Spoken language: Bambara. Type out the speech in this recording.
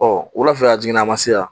wulafɛ a jiginna a ma se yan